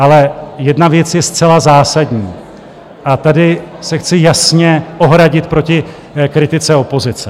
Ale jedna věc je zcela zásadní - a tady se chci jasně ohradit proti kritice opozice.